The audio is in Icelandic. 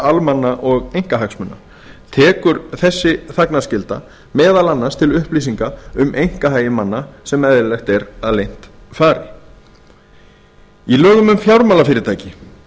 almanna eða einkahagsmuna tekur þessi þagnarskylda meðal annars til upplýsinga um einkahagi manna sem eðlilegt er að leynt fari í lögum um fjármálafyrirtæki